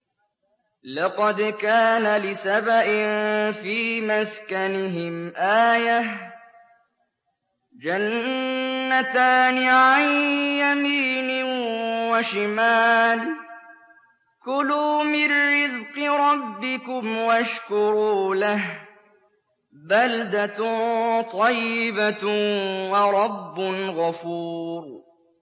لَقَدْ كَانَ لِسَبَإٍ فِي مَسْكَنِهِمْ آيَةٌ ۖ جَنَّتَانِ عَن يَمِينٍ وَشِمَالٍ ۖ كُلُوا مِن رِّزْقِ رَبِّكُمْ وَاشْكُرُوا لَهُ ۚ بَلْدَةٌ طَيِّبَةٌ وَرَبٌّ غَفُورٌ